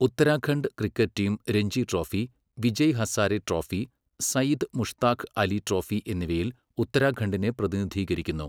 Uttarakhand cricket team Ranji trophy, Vijay Hazare trophy, Syed Mushtaq Ali trophy എന്നിവയിൽ ഉത്തരാഖണ്ഡിനെ പ്രതിനിധീകരിക്കുന്നു.